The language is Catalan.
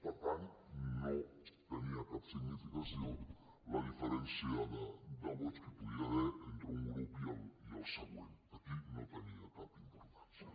per tant no tenia cap significació la diferència de vots que hi podia haver entre un grup i el següent aquí no tenia cap importància